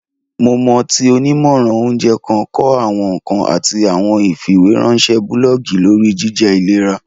Mo mọ ti onimọran ounjẹ kan kọ awọn nkan ati awọn ifiweranṣẹ bulọọgi lori jijẹ ilera.